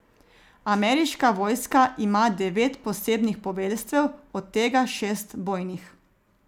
Ameriška vojska ima devet posebnih poveljstev, od tega šest bojnih.